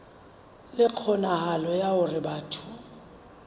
le kgonahalo ya hore batho